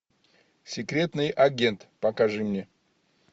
секретный агент покажи мне